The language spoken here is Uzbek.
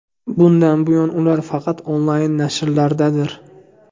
Bundan buyon ular faqat onlayn nashrlardir.